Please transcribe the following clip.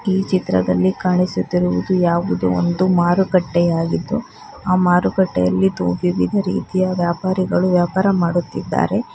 ಈ ಚಿತ್ರದಲ್ಲಿ ಕಾಣಿಸುತ್ತಿರುವುದು ಯಾವುದು ಒಂದು ಮಾರುಕಟ್ಟೆಯಾಗಿದ್ದು ಆ ಮಾರುಕಟ್ಟೆಯಲ್ಲಿ ವಿವಿಧ ರೀತಿಯ ವ್ಯಾಪಾರಿಗಳು ವ್ಯಾಪಾರ ಮಾಡುತ್ತಿದ್ದಾರೆ.